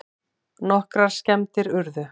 Nokkrar skemmdir urðu